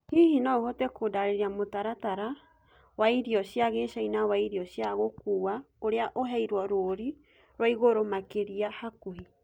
hĩhĩ no uhote kundariria mũtarataraĩnĩ waĩrĩo cĩa gĩchĩna waĩrĩo cĩa gũkũwa uria uheirwo rũrĩ rwaĩgũrũ makĩrĩa hakuhi